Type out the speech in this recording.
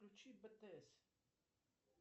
включи бтс